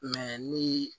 ni